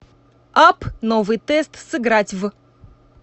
апп новый тест сыграть в